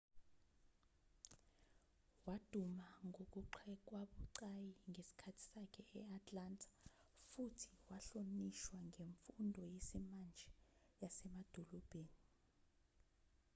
waduma ngokugxekwabucayi ngesikhathi sakhe e-atlanta futhi wahlonishwa ngemfundo yesimanje yasemadolobheni